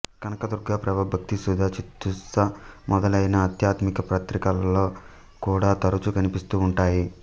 కనకదుర్గ ప్రభ భక్తిసుధ చిత్సుధ మొదలైన ఆధ్యాత్మిక పత్రికలలో కూడా తరచూ కనిపిస్తూ ఉంటాయి